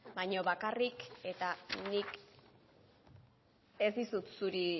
baino bakarrik eta nik ez dizut zuri